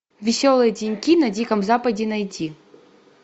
веселые деньки на диком западе найти